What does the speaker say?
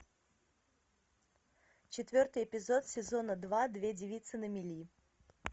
четвертый эпизод сезона два две девицы на мели